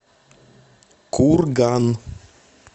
курган